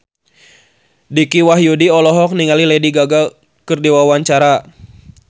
Dicky Wahyudi olohok ningali Lady Gaga keur diwawancara